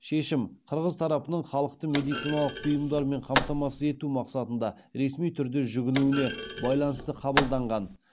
шешім қырғыз тарапының халықты медициналық бұйымдармен қамтамасыз ету мақсатында ресми түрде жүгінуіне байланысты қабылданған